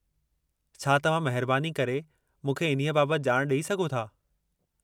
छा तव्हां महिरबानी करे मूंखे इन्हीअ बाबति ॼाणु ॾेई सघो था?